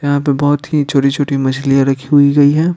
यहां पे बहुत ही छोटी छोटी मछलियां रखी हुई गई है।